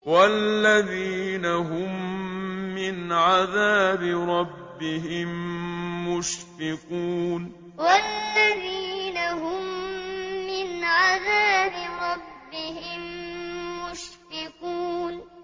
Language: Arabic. وَالَّذِينَ هُم مِّنْ عَذَابِ رَبِّهِم مُّشْفِقُونَ وَالَّذِينَ هُم مِّنْ عَذَابِ رَبِّهِم مُّشْفِقُونَ